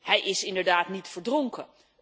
Hij is inderdaad niet verdronken.